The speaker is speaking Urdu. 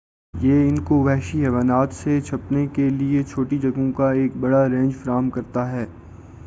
یہ ان کو وحشی حیوانات سے چھپنے کے لئے چھوٹی جگہوں کا ایک بڑا رینج فراہم کرتا ہے